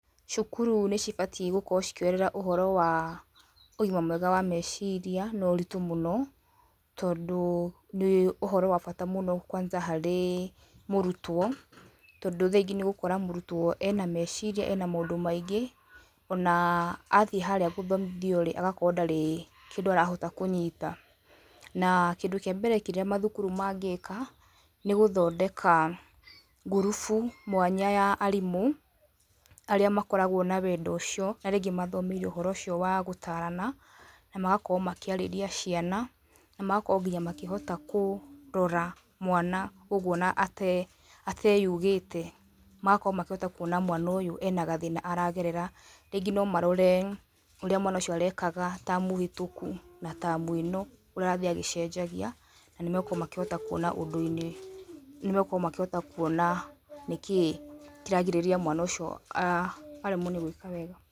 Cukuru nĩ cibatie gũkorwo cikĩoerera ũhoro wa ũgima mwega wa meciria na ũritũ mũno, tondũ nĩ ũhoro wa bata mũno kwanza harĩ mũrutwo, tondũ thaa ingĩ nĩ ũgũkora mũrutwo ena meciria, ena maũndũ maingĩ ona athiĩ harĩa gũthomithio, agakorwo ndarĩ kĩndũ arahota kũnyita. Na kĩndũ kĩa mbere kĩrĩa maukuru mangĩka nĩ gũthondeka ngurubu mwanya ya arimũ, arĩa makorwo na wendo ũcio, arĩa mathomeire ũhoro wa gũtarana, na magakorwo makĩarĩria ciana, na mahota nginya gũkorwo makĩrora mwana ũguo ona ateyugĩte. Magakorwo makĩona mwana ũyũ ena gathĩna aragerera, rĩngĩ no marore ũrĩa mwana ũcio arekaga tamu hĩtũku, na tamu ĩno ũrĩa arathiĩ agĩcenjagia. Na nĩ makũhota makĩona ũndũ, nĩmakũhota gũkorwo makĩona nĩkĩ kĩragirirĩria mwana ũcio aremwo nĩ gwĩka wega.